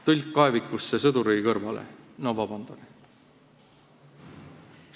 Tõlk kaevikusse sõduri kõrvale – no vabandage!